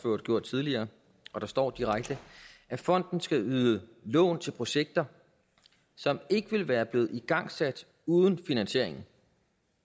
gjort tidligere at fonden skal yde lån til projekter som ikke ville være blevet igangsat uden finansieringen